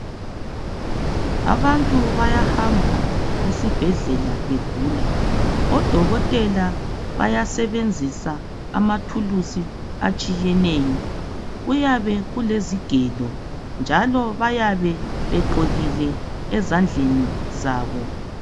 Abantu bayahamba esibhedlela begula. Odokotela bayasebenzisa amathulusi atshiyeneyo. Kuyabe kulezigelo, njalo bayabe begqokile ezandleni zabo.